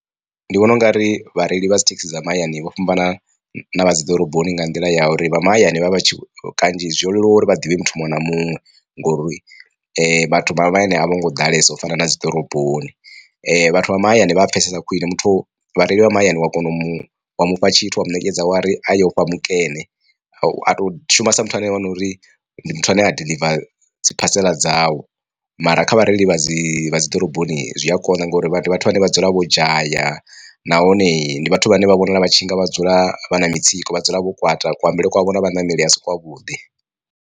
Ndi vhona ungari vhareili vha dzi thekhisi dza mahayani vho fhambana na vha dziḓoroboni nga nḓila ya uri vha mahayani vhavha vhatshi kanzhi zwo leluwa uri vha ḓivhe muthu muṅwe na muṅwe ngori vhathu vha mahayani a vho ngo ḓalesa u fana na dzi ḓoroboni. Vhathu vha mahayani vha pfesesa khwine muthu vhareili vha mahayani wa kona u mufha tshithu wa mu ṋekedza a wari a yo fha mukene a to shuma sa muthu ane a wana uri ndi muthu ane a diḽivara dzi phasela dzau, mara kha vhareili vha dzi vha dzi ḓoroboni zwi a konḓa ngori vhathu vha ne vha dzula vho dzhaya nahone ndi vhathu vhane vha vhonala vha tshi nga vha dzula vha na mitsiko vha dzula vho kwata kutambele kwavho na vhaṋameli vhasi kwa vhuḓi.